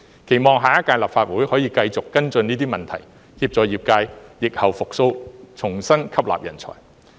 期望下一屆立法會可以繼續跟進這些問題，協助業界疫後復蘇，重新吸納人才。